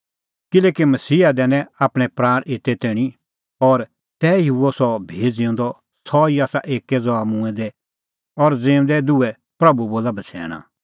किल्हैकि मसीहा दैनै आपणैं प्राण एते ई तैणीं और तैही हुअ सह भी ज़िऊंदअ सह ई आसा एक्कै ज़हा मूंऐं दै और ज़िऊंदै दुहै प्रभू बोला बछ़ैणा